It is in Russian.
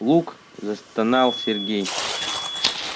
лук застонал сергей